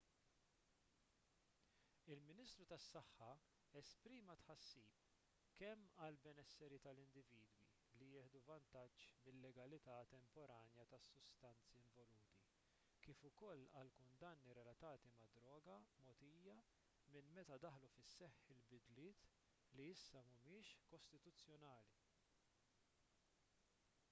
il-ministru tas-saħħa esprima tħassib kemm għall-benesseri tal-individwi li jieħdu vantaġġ mil-legalità temporanja tas-sustanzi involuti kif ukoll għall-kundanni relatati mad-droga mogħtija minn meta daħlu fis-seħħ il-bidliet li issa mhumiex kostituzzjonali